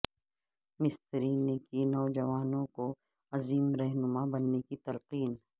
مستری نے کی نوجوانوںکو عظیم رہنمار بننے کی تلقین